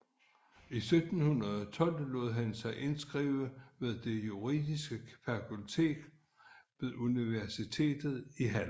I 1712 lod han sig indskrive ved det juridiske fakultet ved universitetet i Halle